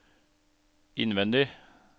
innvendig